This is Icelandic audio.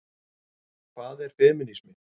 Hvað er femínismi?